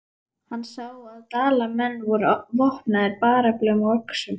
Hann sá að Dalamenn voru vopnaðir bareflum og öxum.